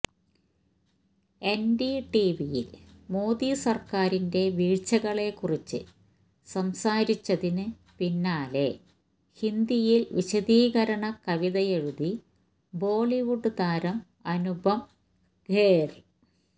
എന്ഡിടിവിയില് മോദി സര്ക്കാരിന്റെ വീഴ്ച്ചകളെ കുറിച്ച് സംസാരിച്ചതിന് പിന്നാലെ ഹിന്ദിയില് വിശദീകരണ കവിതയെഴുതി ബോളിവുഡ് താരം അനുപം ഖേര്